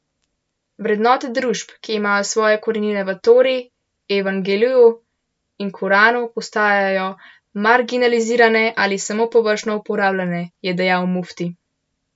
Vrednote družb, ki imajo svoje korenine v tori, evangeliju in koranu, postajajo marginalizirane ali samo površno uporabljane, je dejal mufti.